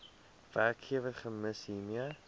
werkgewer gems hiermee